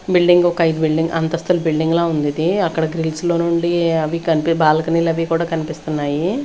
Building ఒక ఐదు building అంతస్తుల బిల్డింగ్ ల ఉంది ఇది అక్కడ గ్రిల్స్ లో నుండి అవి కం-- బాల్కనీలు అవి కూడా కనిపిస్తున్నాయి.